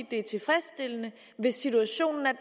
det er tilfredsstillende hvis situationen er